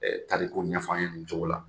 E tariku ɲɛf'an ɲɛnɛ nin cogo la.